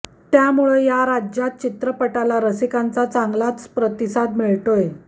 त्यामुळं या राज्यांत चित्रपटाला चांगलाच रसिकांचा चांगलाच प्रतिसाद मिळतोय